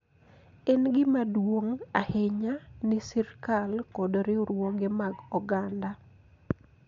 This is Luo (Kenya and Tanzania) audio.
En gima duong� ahinya ni sirkal kod riwruoge mag oganda